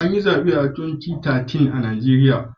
An yi zabe a 2013 a Najeriya.